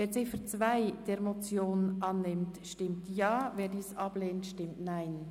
Wer die Ziffer 2 der Motion annimmt, stimmt Ja, wer diese ablehnt stimmt Nein.